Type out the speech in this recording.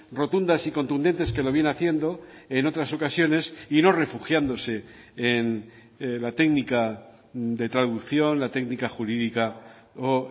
rotundas y contundentes que lo viene haciendo en otras ocasiones y no refugiándose en la técnica de traducción la técnica jurídica o